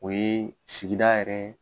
O ye sigida yɛrɛ